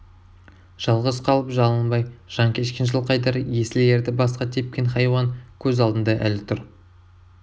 жалғыз қалып жалынбай жан кешкен жылқайдар есіл ерді басқа тепкен хайуан көз алдында әлі тұр